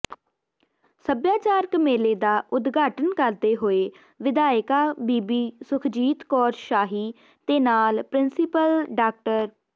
ਸੱਭਿਆਚਾਰਕ ਮੇਲੇ ਦਾ ਉਦਘਾਟਨ ਕਰਦੇ ਹੋਏ ਵਿਧਾਇਕਾ ਬੀਬੀ ਸੁਖਜੀਤ ਕੌਰ ਸਾਹੀ ਤੇ ਨਾਲ ਪ੍ਰਿੰਸੀਪਲ ਡਾ